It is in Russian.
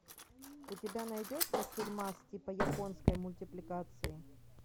у тебя найдется фильмас типа японской мультипликации